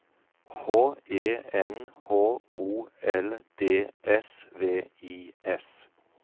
H E N H O L D S V I S